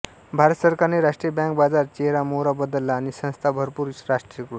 भारत सरकारने राष्ट्रीय बँक बाजार चेहरामोहरा बदलला आणि संस्था भरपूर राष्ट्रीयकृत